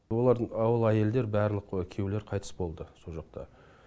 олардың ол әйелдер барлық күйеулері қайтыс болды сол жақта